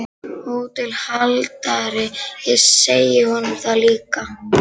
HÓTELHALDARI: Ég segi honum það líka.